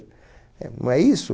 Eh, não é isso?